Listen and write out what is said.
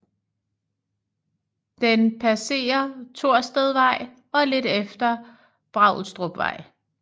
Den passere Torstedvej og lidt efter Braulstrupvej